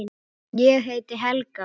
Ég heiti Helga!